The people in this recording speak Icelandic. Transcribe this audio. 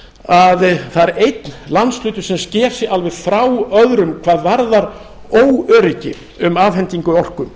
að það er einn landshluti sem sker sig alveg frá öðrum hvað varðar óöryggi um afhendingu orku